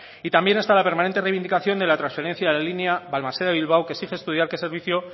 y también está la permanente reivindicación de la trasferencia de la línea balmaseda bilbao que exige estudiar qué servicio